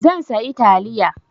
Zan sayi taliya.